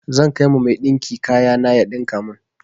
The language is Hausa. Zan kai ma mai ɗinki kaya na ya ɗinka mun.